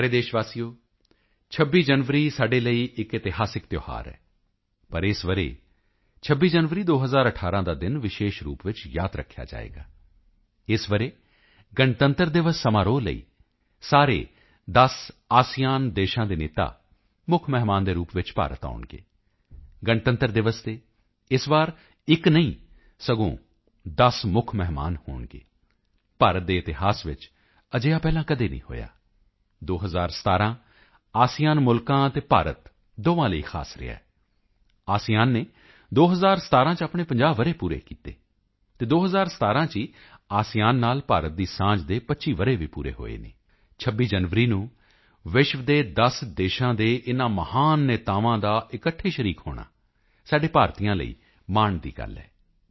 ਮੇਰੇ ਪਿਆਰੇ ਦੇਸ਼ ਵਾਸੀਓ 26 ਜਨਵਰੀ ਸਾਡੇ ਲਈ ਇੱਕ ਇਤਿਹਾਸਕ ਤਿਓਹਾਰ ਹੈ ਪਰ ਇਸ ਵਰ੍ਹੇ 26 ਜਨਵਰੀ 2018 ਦਾ ਦਿਨ ਵਿਸ਼ੇਸ਼ ਰੂਪ ਵਿੱਚ ਯਾਦ ਰੱਖਿਆ ਜਾਵੇਗਾ ਇਸ ਵਰ੍ਹੇ ਗਣਤੰਤਰ ਦਿਵਸ ਸਮਾਰੋਹ ਲਈ ਸਾਰੇ 10 ਆਸੀਆਨ ਏਸੀਅਨ ਦੇਸ਼ਾਂ ਦੇ ਨੇਤਾ ਮੁੱਖ ਮਹਿਮਾਨ ਦੇ ਰੂਪ ਵਿੱਚ ਭਾਰਤ ਆਉਣਗੇ ਗਣਤੰਤਰ ਦਿਵਸ ਤੇ ਇਸ ਵਾਰੀ ਇੱਕ ਨਹੀਂ ਸਗੋਂ 10 ਮੁੱਖ ਮਹਿਮਾਨ ਹੋਣਗੇ ਭਾਰਤ ਦੇ ਇਤਿਹਾਸ ਵਿੱਚ ਅਜਿਹਾ ਪਹਿਲਾਂ ਕਦੇ ਨਹੀਂ ਹੋਇਆ 2017 ਆਸੀਆਨ ਮੁਲਕਾਂ ਅਤੇ ਭਾਰਤ ਦੋਹਾਂ ਲਈ ਖ਼ਾਸ ਰਿਹਾ ਹੈ ਆਸੀਆਨ ਨੇ 2017 ਚ ਆਪਣੇ 50 ਵਰ੍ਹੇ ਪੂਰੇ ਕੀਤੇ ਅਤੇ 2017 ਚ ਹੀ ਆਸੀਆਨ ਨਾਲ ਭਾਰਤ ਦੀ ਸਾਂਝ ਦੇ 25 ਵਰ੍ਹੇ ਵੀ ਪੂਰੇ ਹੋਏ ਹਨ 26 ਜਨਵਰੀ ਨੂੰ ਵਿਸ਼ਵ ਦੇ 10 ਦੇਸ਼ਾਂ ਦੇ ਇਨ੍ਹਾਂ ਮਹਾਨ ਨੇਤਾਵਾਂ ਦਾ ਇਕੱਠੇ ਸ਼ਰੀਕ ਹੋਣਾ ਸਾਡੇ ਭਾਰਤੀਆਂ ਲਈ ਮਾਣ ਦੀ ਗੱਲ ਹੈ